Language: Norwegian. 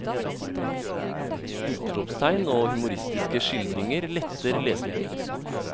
Utropstegn og humoristiske skildringer letter lesningen.